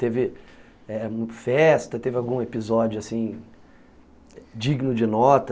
Teve eh festa, teve algum episódio assim, digno de nota?